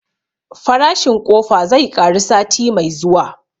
Farashin ƙofa zai ƙaru sati mai zuwa